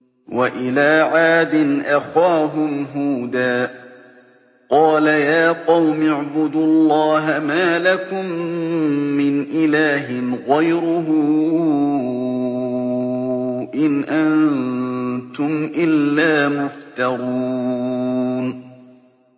وَإِلَىٰ عَادٍ أَخَاهُمْ هُودًا ۚ قَالَ يَا قَوْمِ اعْبُدُوا اللَّهَ مَا لَكُم مِّنْ إِلَٰهٍ غَيْرُهُ ۖ إِنْ أَنتُمْ إِلَّا مُفْتَرُونَ